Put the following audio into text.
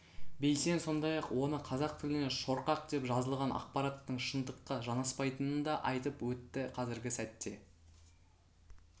бейсен сондай-ақ оны қазақ тіліне шорқақ деп жазылған ақпараттың шындыққа жанаспайтынын да айтып өтті қазіргі сәтте